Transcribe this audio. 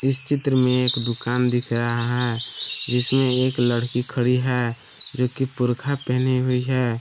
इस चित्र में एक दुकान दिख रहा है जिसमें एक लड़की खड़ी है जो की बोरखा पहनी हुई है।